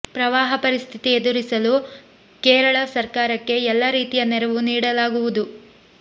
ಪ್ರವಾಹ ಪರಿಸ್ಥಿತಿ ಎದುರಿಸಲು ಕೇರಳ ಸರ್ಕಾರಕ್ಕೆ ಎಲ್ಲ ರೀತಿಯ ನೆರವು ನೀಡಲಾಗುವುದು